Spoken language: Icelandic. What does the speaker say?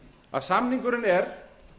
að samningurinn er